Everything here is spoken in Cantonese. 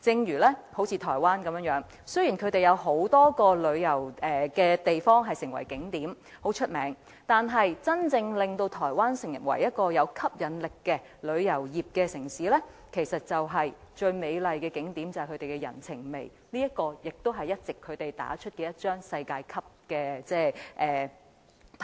以台灣為例，雖然有很多著名的旅遊景點，但真正令台灣成為一個具吸引力的旅遊地點的是其人情味，這才是台灣最美麗的景點，也是台灣一直打出來的一張世界級的牌。